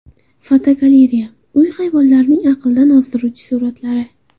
Fotogalereya: Uy hayvonlarining aqldan ozdiruvchi suratlari.